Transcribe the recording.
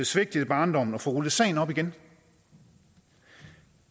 svigtet i barndommen at få rullet sagen op igen